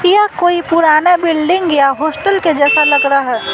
यह कोई पुराना बिल्डिंग या हॉस्टल जैसा लग रहा है।